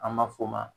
An b'a fɔ o ma